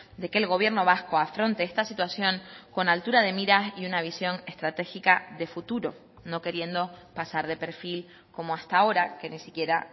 de que el gobierno vasco afronte esta situación con altura de miras y una visión estratégica de futuro no queriendo pasar de perfil como hasta ahora que ni siquiera